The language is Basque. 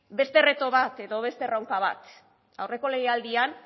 beste reto bat edo beste erronka bat aurreko legealdian